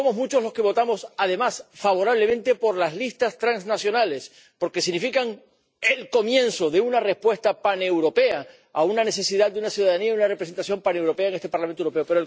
Somos muchos los que votamos, además, a favor de las listas transnacionales, porque significan el comienzo de una respuesta paneuropea a una necesidad de una ciudadanía y una representación paneuropeas en este Parlamento Europeo.